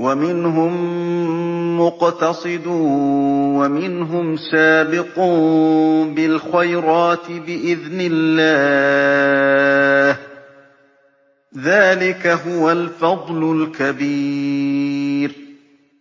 وَمِنْهُم مُّقْتَصِدٌ وَمِنْهُمْ سَابِقٌ بِالْخَيْرَاتِ بِإِذْنِ اللَّهِ ۚ ذَٰلِكَ هُوَ الْفَضْلُ الْكَبِيرُ